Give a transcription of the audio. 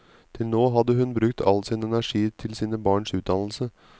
Til nå hadde hun brukt all sin energi til sine barns utdannelse.